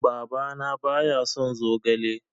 Baba na ba ya son zogale